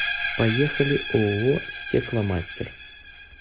поехали ооо стекломастер